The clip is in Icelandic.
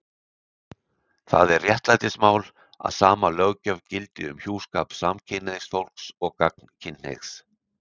Það er réttlætismál að sama löggjöf gildi um hjúskap samkynhneigðs fólks og gagnkynhneigðs.